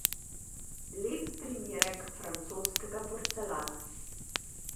Lep primerek francoskega porcelana.